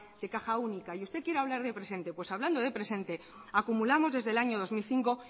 de caja única y usted quiere hablar de presente pues hablando de presente acumulamos desde el año dos mil cinco